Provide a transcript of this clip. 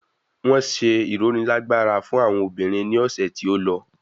Wọn ṣe ironilagbara fún àwọn obìnrin ní ọ̀sẹ̀ tí ó lọ.